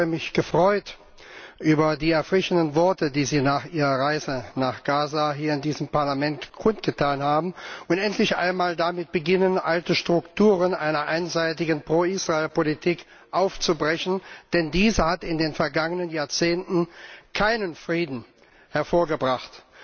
Ich habe mich über die erfrischenden Worte, die Sie nach Ihrer Reise nach Gaza hier in diesem Parlament kundgetan haben, gefreut und auch darüber, dass Sie endlich einmal damit beginnen, alte Strukturen einer einseitigen Pro Israel Politik aufzubrechen, denn diese hat in den vergangenen Jahrzehnten keinen Frieden hervorgebracht.